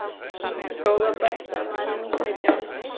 Góða besta. maður er nú orðinn sautján!